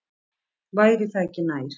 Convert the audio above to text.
Væri það ekki nær?